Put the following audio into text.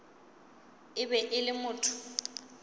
e be e le motho